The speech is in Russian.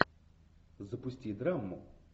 запусти драму